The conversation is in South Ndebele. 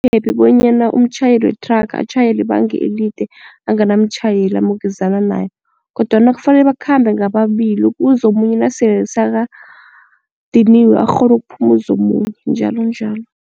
Akukaphephi bonyana umtjhayeli wethraga atjhayele ibanga elide anganamtjhayeli amukezana naye kodwana kufanele bakhambe ngababili kuzo omunye nasele sekadiniwe arhone ukuphumuza omunye njalonjalo.